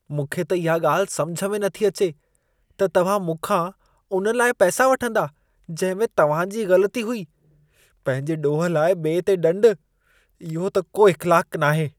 मूंखे त इहा ॻाल्हि समुझ में नथी अचे त तव्हां मूंखां उन लाइ पैसा वठंदा जंहिं में तव्हां जी ग़लती हुई। पंहिंजे ॾोह लाइ ॿिए ते ॾंडु, इहो त को इख़्लाक़ु नाहे।